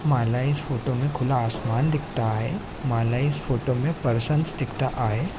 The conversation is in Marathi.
माला इस फोटो मे खुला आसमान दिखता आहे माला इस फोटो मे पर्सन्स दिखता आहे.